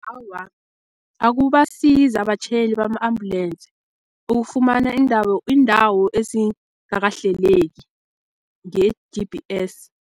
Awa, akubasizi abatjhayeli bama-ambulensi ukufumana iindawo ezingakahleleki nge-G_B_S.